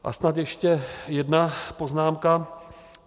A snad ještě jedna poznámka.